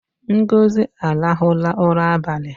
Ngozi arụhụla ụra abali